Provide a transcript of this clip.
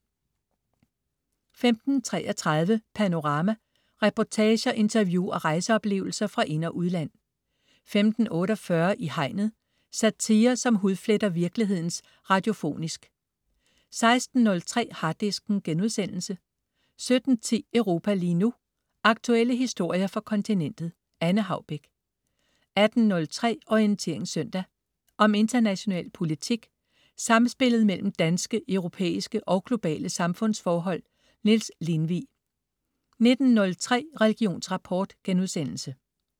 15.33 Panorama. Reportager, interview og rejseoplevelser fra ind- og udland 15.48 I Hegnet. Satire, som hudfletter virkeligheden radiofonisk 16.03 Harddisken* 17.10 Europa lige nu. Aktuelle historier fra kontinentet. Anne Haubek 18.03 Orientering søndag. Om international politik, samspillet mellem danske, europæiske og globale samfundsforhold. Niels Lindvig 19.03 Religionsrapport*